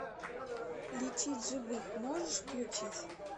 лечить живых можешь включить